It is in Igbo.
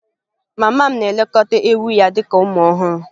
Mama m na-elekọta ewu ya dị ka ụmụ ọhụrụ.